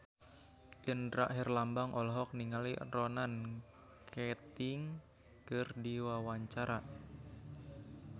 Indra Herlambang olohok ningali Ronan Keating keur diwawancara